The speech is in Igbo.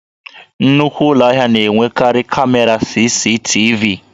Nnukwu Ụlọ ahịa na-enwekarị kamera CCTV